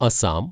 Assam